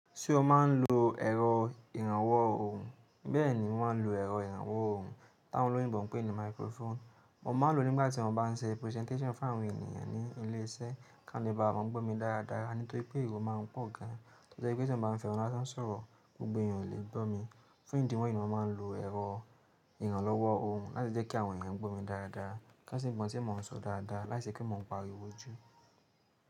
Ṣé o máa ń lo ẹ̀rọ ìrànwọ́ ohùn? Bẹ́ẹ̀ni, mo máa ń lo ẹ̀rọ ìrànwọ́ ohùn tí àwọn olóyìnbó ń pè ní microphone. Mo máa ń lo nígbà tí mo bá ń ṣe presentation fún àwọn ènìyàn ní ilé iṣẹ́ kí wọ́n lè bá à mọ gbó mi dáradára. Nítorí pé èrò máa ń pọ̀ gan an, nítorí pé tí mo bá ń fẹ́ nu lá san sọ̀rọ̀, gbogbo èèyàn ò lè gbọ́ mi. Fun ìdí wọ̀nyí ni mo máa ń lo ẹ̀rọ ìrànlọ́wọ́ ohùn láti jẹ́ kí àwọn èèyàn gbọ́ mi dáradára ká sì mọ̀ tí mo ti ń sọ dáradára láì ṣe pé mo ń pariwo jù.